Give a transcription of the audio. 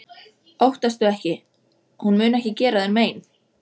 Óttastu ekki- hún mun ekki gera þér mein.